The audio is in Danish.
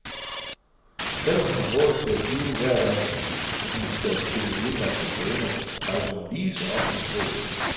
Selv om hun har råd til at flyve hver gang hun skal til de udenlandske stævner, rejser hun lige så ofte med tog.